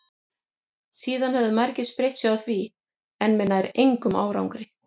síðan höfðu margir spreytt sig á því en með nær engum árangri